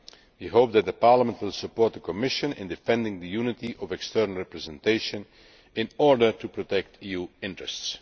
We hope that Parliament will support the Commission in defending the unity of external representation in order to protect EU interests.